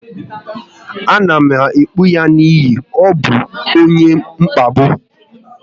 A na m ebipụ ya n'ihi ọ bụ onye mkpagbu